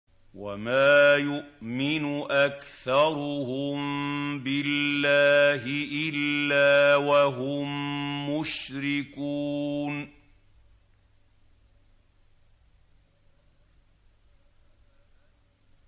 وَمَا يُؤْمِنُ أَكْثَرُهُم بِاللَّهِ إِلَّا وَهُم مُّشْرِكُونَ